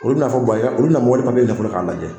Olu fɔ olu na mɔk k'a lajɛ olu bɛna wari papie